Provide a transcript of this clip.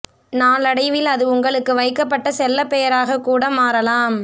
நாளடைவில் அது உங்களுக்கு வைக்கப் பட்ட செல்லப் பெயராகக் கூட மாறலாம்